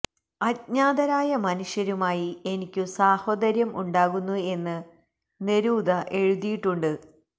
അജ്ഞാതരായ മനുഷ്യരുമായി എനിക്കു സാഹോദര്യം ഉണ്ടാകുന്നു എന്ന് നെരൂദ എഴുതിയിട്ടുണ്ട്